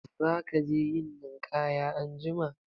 Za ka je yin ninƙaya anjima?